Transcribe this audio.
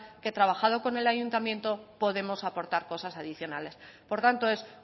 que trabajado con el ayuntamiento podemos aportar cosas adicionales por tanto es